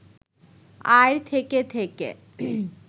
আর থেকে থেকে